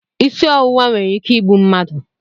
Isi ọwụwa nwere ike igbu mmadụ